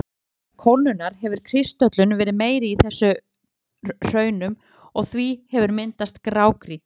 Vegna hægari kólnunar hefur kristöllun verið meiri í þessum hraunum og því hefur myndast grágrýti.